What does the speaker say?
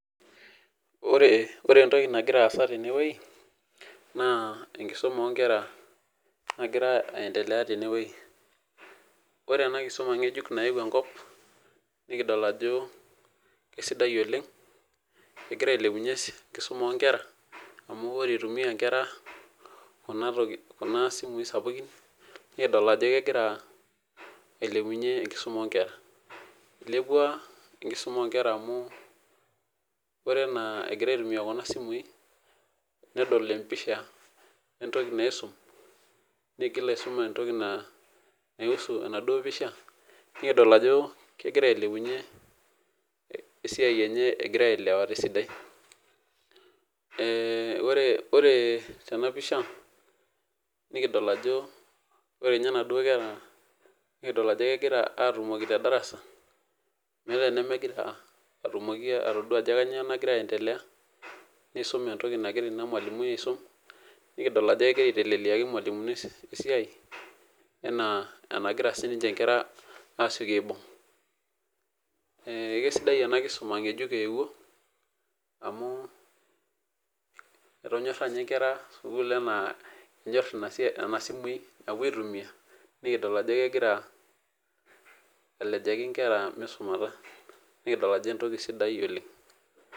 ore entoki nagira aas atene wueji naa enkisuma oo nkera nagira aendelea tene wueji, ore ena kisuma ngejuk nayewuo enkop nikidol ajo kisidai oleng, kegira ailepunye enkisuma oo nkera, amu ore ilepunye nkera kuna simui sapukin, nikidol ajo kegira ailepunye enkisuma oo nkera, ilepua, enkisuma o nkera aore enaa egirae aitumie akuna simui, nedol empisha, entoki naisum, nigil aisum entoki naiusu enaduoo pisha, nikidol ajo kegira ailepunye esiai enye, egira aelewa tesdai. ore ninye tena pisha nikidol inaduoo kera, nikidol ajo kegira aatumoki te darasa. meeta enemegira atumoki atodua ajo kainyioo nagira aendelea, niisum entoki nagira ina mualimui aisum, nikidol ajo kegira aitelelaki irmalimuni esiai, enaa enagira sii ninche nkera aasioki aibung',ee kesidai ena kisum ng'ejuk eewuo amu, etonyorra ninye nkera sukuul amu kenyor nena simui napuo aitumia, nikidol ajo kegira alejaki nkera misumata, nikidol ajo enoki sidai oleng'.